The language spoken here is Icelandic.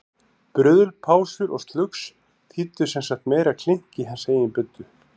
Bruðl, pásur og slugs þýddu sem sagt meira klink í hans eigin buddu.